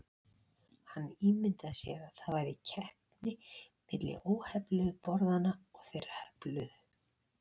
Hann ímyndaði sér að það væri keppni milli óhefluðu borðanna og þeirra hefluðu.